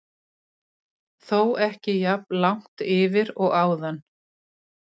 Þó ekki jafn langt yfir og áðan.